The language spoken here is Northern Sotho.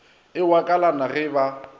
e wa kalana ge ba